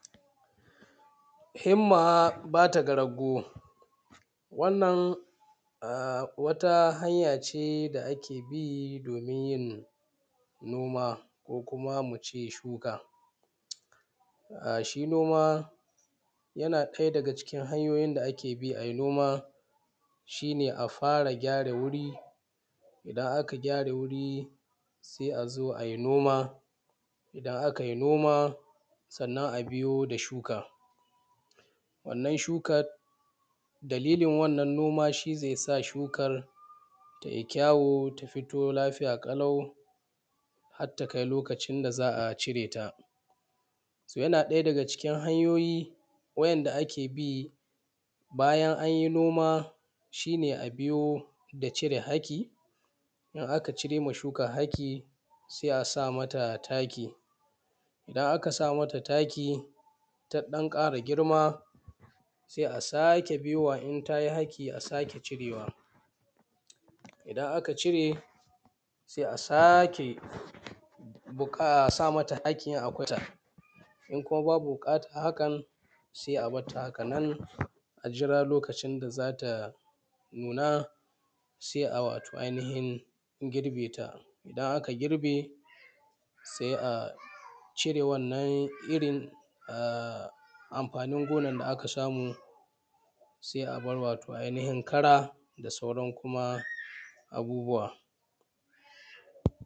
“Himma ba ta ga rago” wannan a wata hanya ce da ake bi domin yin noma ko kuma mu ce shuka. A, shi noma yana ɗaya daga cikin hanyoyin da ake bi ai noma shi ma, a fara gyara wuri, idan aka gyara guri sai a zo ai noma, idan akai noma, sannan a biyo da shuka wannan shukad. Dalilin wannan noma, shi ne zai sa shukar tai kyawu ta fito lafiya ƙalau hat ta kai lokacin da za a cire ta. ‘So’ yana ɗaya daga cikin hanyoyi wa’yanda ake bi bayan an yi noma, shi ne a biyo da cire haki, in aka cire ma shuka haki, se a sa mata taki, idan aka sa mata taki ta ɗan ƙara girma, se a sake biyowa, in ta yi haki a sake cirewa, idan aka cire, sai a sake buƙ; a sake sa mata haki in kwata, in kuma babu buƙatan hakan, se a bat ta hakanan, a jira lokacin da za ta nuna, sai a wato ainifin girbeta. Idan aka girbe, se a cire wannan irin a; anfanin gonan da aka samu, sai a bar wato ainifin kara da sauran kuma abubuwa.